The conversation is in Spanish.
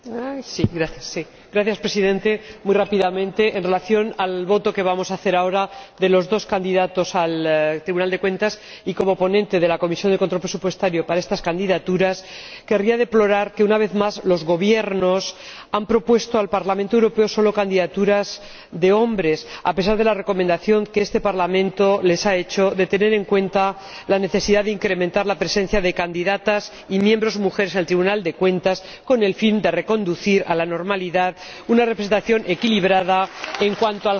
Señor Presidente, muy rápidamente en relación con la votación a la que vamos a proceder ahora sobre los dos candidatos al Tribunal de Cuentas, y como ponente de la Comisión de Control Presupuestario para estas candidaturas, querría deplorar que, una vez más, los Gobiernos hayan propuesto al Parlamento Europeo solamente candidaturas de hombres, a pesar de la recomendación que este Parlamento les ha hecho de que tengan en cuenta la necesidad de incrementar la presencia de candidatas y miembros mujeres en el Tribunal de Cuentas, con el fin de reconducir a la normalidad una representación equilibrada en cuanto al género.